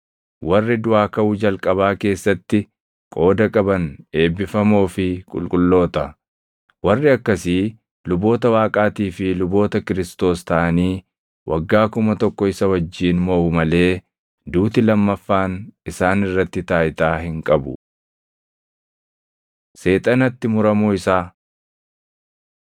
Warri duʼaa kaʼuu jalqabaa keessatti qooda qaban eebbifamoo fi qulqulloota. Warri akkasii luboota Waaqaatii fi luboota Kiristoos taʼanii waggaa kuma tokko isa wajjin moʼu malee duuti lammaffaan isaan irratti taayitaa hin qabu. Seexanatti Muramuu Isaa